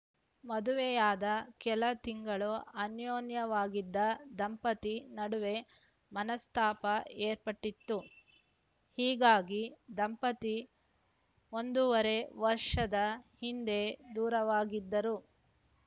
ಮದುವೆಯಾದ ಕೆಲ ತಿಂಗಳು ಅನ್ಯೂನ್ಯವಾಗಿದ್ದ ದಂಪತಿ ನಡುವೆ ಮನಸ್ತಾಪ ಏರ್ಪಟ್ಟಿತ್ತು ಹೀಗಾಗಿ ದಂಪತಿ ಒಂದೂವರೆ ವರ್ಷದ ಹಿಂದೆ ದೂರುವಾಗಿದ್ದರು